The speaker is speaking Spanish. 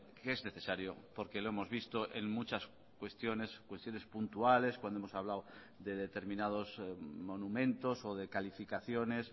que es necesario porque lo hemos visto en muchas cuestiones cuestiones puntuales cuando hemos hablado de determinados monumentos o de calificaciones